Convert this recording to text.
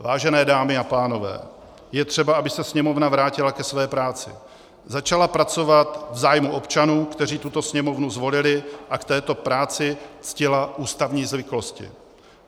Vážené dámy a pánové, je třeba, aby se Sněmovna vrátila ke své práci, začala pracovat v zájmu občanů, kteří tuto Sněmovnu zvolili, a k této práci ctila ústavní zvyklosti.